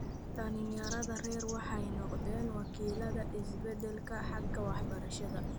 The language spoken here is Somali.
Dhallinyarada rer waxay noqdaan wakiillada isbeddelka xagga waxbarashada.